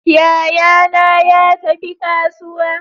Yayana ya tafi kasuwa.